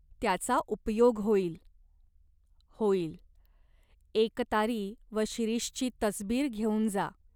त्याचा उपयोग होईल." "होईल. एकतारी व शिरीषची तसबीर घेऊन जा.